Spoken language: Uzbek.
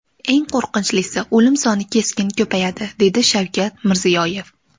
Eng qo‘rqinchlisi, o‘lim soni keskin ko‘payadi”, dedi Shavkat Mirziyoyev.